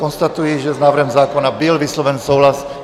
Konstatuji, že s návrhem zákona byl vysloven souhlas.